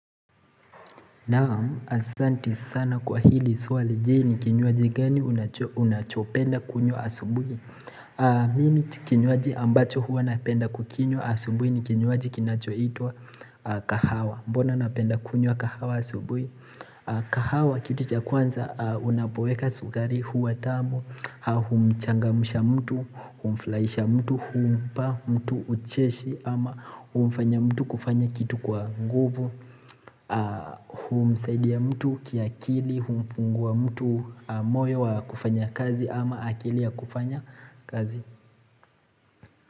Naam, asanti sana kwa hili swali. Je, ni kinywaji gani unachopenda kunywa asubuhi Mimi kinywaji ambacho huwa napenda kukinywa asubuhi ni kinywaji kinachoitwa kahawa mbona napenda kunyo kahawa asubui kahawa kitu cha kwanza unapoweka sukari huwa tamu Humchangamsha mtu, humfrahisha mtu, humpa mtu ucheshi ama humfanya mtu kufanya kitu kwa nguvu humsaidia ya mtu kiakili humfungua wa mtu moyo wa kufanya kazi ama akili ya kufanya kazi.